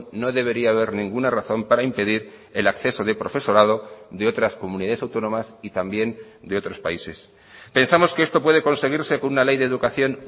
no debería haber ninguna razón para impedir el acceso de profesorado de otras comunidades autónomas y también de otros países pensamos que esto puede conseguirse con una ley de educación